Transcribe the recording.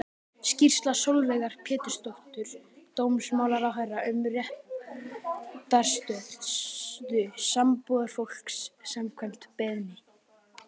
Skýrsla Sólveigar Pétursdóttur dómsmálaráðherra um réttarstöðu sambúðarfólks, samkvæmt beiðni.